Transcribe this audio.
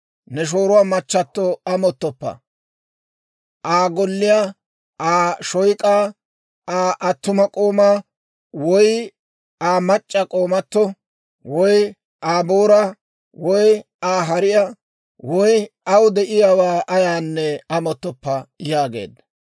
«Ne shooruwaa machchato amottoppa; Aa golliyaa, Aa shoyk'aa, Aa attuma k'oomaa, woy Aa mac'c'a k'oomato, woy Aa booraa, woy Aa hariyaa, woy aw de'iyaawaa ayaanne amottoppa yaageedda.